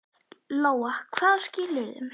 Lóa: Hvaða skilyrðum?